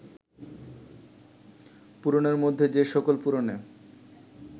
পুরাণের মধ্যে যে সকল পুরাণে